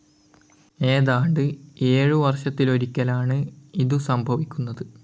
ഏതാണ്ട് ഏഴു വർഷത്തിലൊരിക്കലാണ് ഇതു സംഭവിക്കുന്നത്.